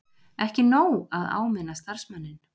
Ekki nóg að áminna starfsmanninn